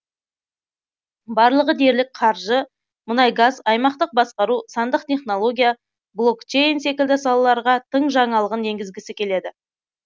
барлығы дерлік қаржы мұнай газ аймақтық басқару сандық технология блокчейн секілді салаларға тың жаңалығын енгізгісі келеді